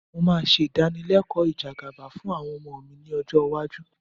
Mo ṣe ìdánilẹ́kọ̀ọ́ ìjẹgàba fún àwọn ọmọ mi lọ́jọ́ iwájú